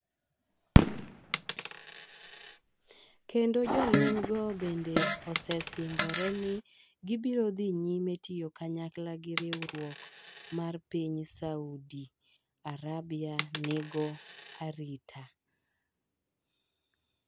kendo jolweny go bende osesingore ni gibiro dhi nyime tiyo kanyakla gi riwruok mar piny Saudi Arabia nigo arita.